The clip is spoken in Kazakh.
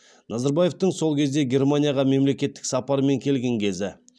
назарбаевтың сол кезде германияға мемлекеттік сапармен келген кезі